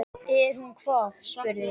Er hún hvað, spurði